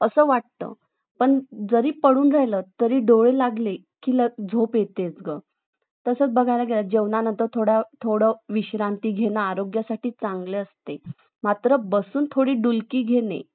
असं वाटत पण जरी पडून राहिला तरी डोळे लागले की झोप येतेच तसंच बघायला गेलं जेवणानंतर थोड विश्रांती घेणं आरोग्यासाठी चांगले असते लहान मात्र बसून थोडी डुलकी घेणं